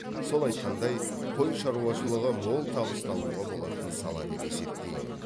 сол айтқандай қой шаруашылығы мол табыс табуға болатын сала деп есептеймін